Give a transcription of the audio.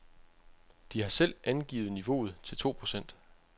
De har selv angivet niveauet til to procent.